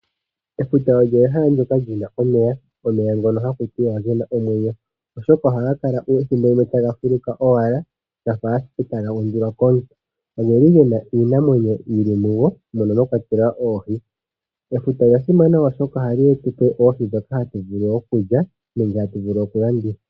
Efuta olyo ehala ndyoka lyina omeya, omeya ngono haku tiwa ogena omwenyo, oshoka ohaga kala ethimbo limwe taga fuluka owala gafa ashike taga undulwa komuntu. Ogeli gena iinamwenyo yili mo mono mwa kwatelwa oohi. Efuta olya simana, oshoka ohali tu pe oohi ndhoka hatu vulu okulya nenge oku landitha.